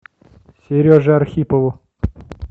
сереже архипову